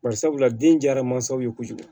Bari sabula den diyara mansaw ye kojugu